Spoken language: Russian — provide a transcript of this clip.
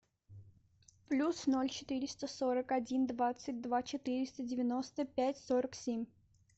плюс ноль четыреста сорок один двадцать два четыреста девяносто пять сорок семь